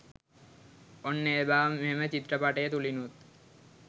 ඔන්න ඒ බව මෙම චිත්‍රපටය තුළිනුත්